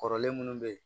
Kɔrɔlen munnu be ye